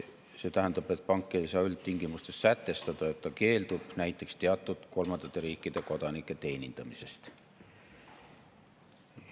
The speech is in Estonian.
See tähendab, et pank ei saa üldtingimustes sätestada, et ta keeldub näiteks teatud kolmandate riikide kodanike teenindamisest.